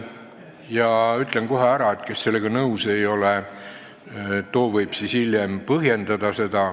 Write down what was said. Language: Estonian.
Ja ütlen kohe ka ära, et kes sellega nõus ei ole, võib hiljem põhjendada.